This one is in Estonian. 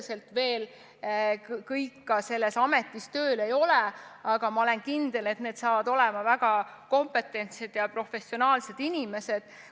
Need inimesed tõenäoliselt kõik veel selles ametis tööl ei ole, aga ma olen kindel, et need saavad olema väga kompetentsed ja professionaalsed inimesed.